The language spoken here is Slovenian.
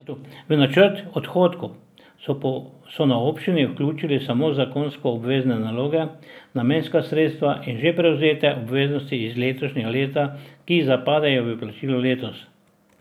V načrt odhodkov so na občini vključili samo zakonsko obvezne naloge, namenska sredstva in že prevzete obveznosti iz letošnjega leta, ki zapadejo v plačilo letos.